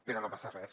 però no passa res